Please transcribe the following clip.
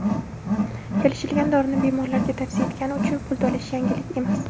kelishilgan dorini bemorlarga tavsiya etgani uchun pul to‘lashi – yangilik emas.